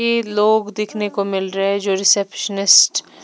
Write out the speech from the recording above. के लोग दिखने को मिल रहे हैं जो रिसेप्शनिस्ट --